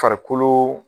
Farikolo